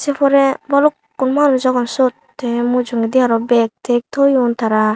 er pore balukkun manuj agon sot te mujogedi aro bag tek toyoun tara.